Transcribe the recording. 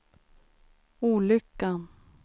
olyckan